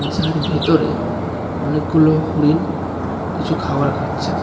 যার ভেতরে অনেকগুলো হরিণ কিছু খাবার খাচ্ছে.